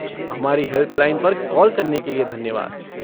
हमारी हेल्पलाइन पर कॉल करने के लिए धन्यवाद।